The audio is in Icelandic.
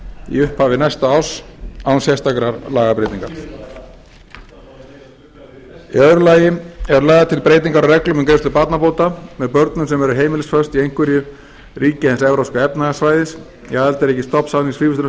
í upphafi næsta árs án sérstakrar lagabreytingar í öðru lagi eru lagðar til breytingar á reglum um greiðslu barnabóta með börnum sem eru heimilisföst í einhverju ríkja hins evrópska efnahagssvæðis í aðildarríki stofnsamnings